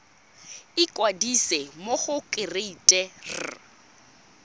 ikwadisa mo go kereite r